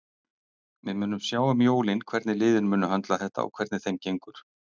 Við munum sjá um jólin hvernig liðin munu höndla þetta og hvernig þeim gengur.